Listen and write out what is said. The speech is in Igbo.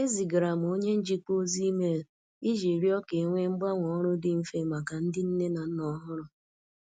Ezigara m onye njikwa ozi email iji rịọ ka e nwee mgbanwe ọrụ dị mfe maka ndị nne na nna ọhụrụ.